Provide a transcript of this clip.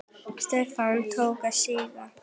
Stefnið tók að síga.